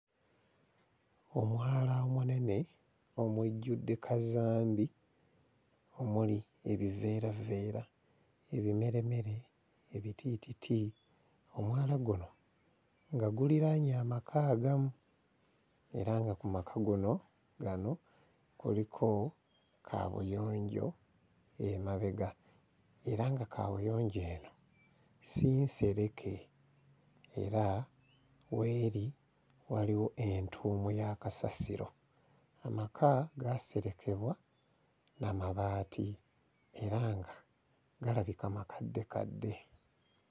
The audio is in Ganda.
Omwala omunene omujjudde kazambi omuli ebiveeraveera, ebimeremere, ebitiititi, omwala guno nga guliraanye amaka agamu era nga ku maka guno gano kuliko kaabuyonjo emabega era nga kaabuyonjo eno si nsereke era w'eri waliwo entuumu ya kasasiro. Amaka gaaserekebwa na mabaati era nga galabika makaddekadde.